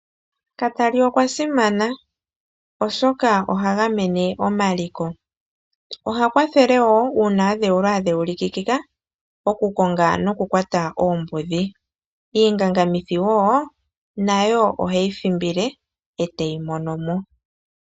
Katali okwa simana oshoka oha gamene omaliko. Oha kwathele woo uuna adhewulwa a dheulikika okukonga nokukwata oombudhi. Iingangamithi wo nayo oheyi thimbile ete yi mono mo.